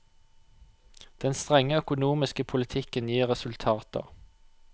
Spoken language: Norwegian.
Den strenge økonomiske politikken gir resultater.